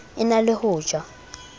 e na le ho ja